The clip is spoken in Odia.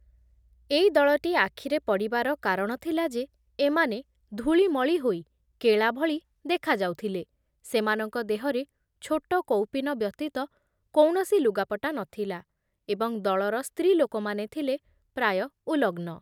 ଏଇ ଦଳଟି ଆଖିରେ ପଡ଼ିବାର କାରଣ ଥିଲା ଯେ ଏମାନେ ଧୂଳିମଳି ହୋଇ କେଳା ଭଳି ଦେଖା ଯାଉଥିଲେ, ସେମାନଙ୍କ ଦେହରେ ଛୋଟ କୌପୀନ ବ୍ୟତୀତ କୌଣସି ଲୁଗାପଟା ନଥିଲା ଏବଂ ଦଳର ସ୍ତ୍ରୀ ଲୋକମାନେ ଥିଲେ ପ୍ରାୟ ଉଲଗ୍ନ ।